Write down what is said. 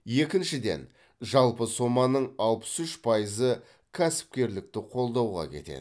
екіншіден жалпы соманың алпыс үш пайызы кәсіпкерлікті қолдауға кетеді